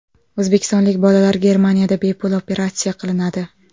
O‘zbekistonlik bolalar Germaniyada bepul operatsiya qilinadi.